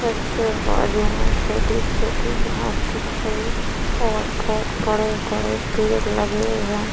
तस के बाजू मे छोटी-छोटी घास दिख रही और बहोत बड़े -ड़े पेड़ लगे है।